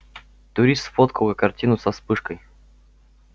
турист сфоткал картину со вспышкой